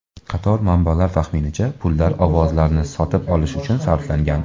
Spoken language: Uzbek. Qator manbalar taxminicha, pullar ovozlarni sotib olish uchun sarflangan.